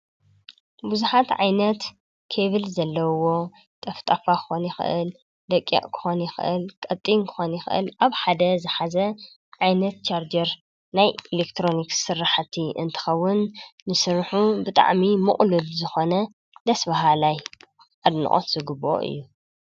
ብዙሓት ዓይነት ኬብል ዘለውዎ ጠፍጣፋ ክኸውን ይክእል ደቂቅ ክኾን ይክእል፤ ቀጢን ክኾን ይክእል፤ አብ ሓደ ዝሓዘ ዓይነት ቻርጀር ናይ ኤለክትሮኒክስ ስራሕቲ እንትኸውን ንስርሑ ብጣዕሚ ምቁሉል ብዝኮነ ደስ በሃላይ አድንቆት ዝግበኦ እዩ።